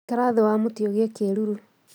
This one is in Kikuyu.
Ikara thĩ wa mũtĩ ũgĩe kĩruru